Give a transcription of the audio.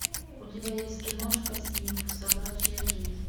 у тебя есть киношка снифф собачья жизнь